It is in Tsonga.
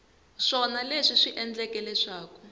swona leswi swi endleke leswaku